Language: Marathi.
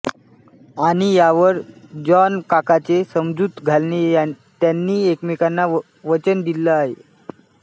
आणि यावर जॉनकाकाचे समजूत घालणे त्यांनी एकमेकांना वचन दिलं आहे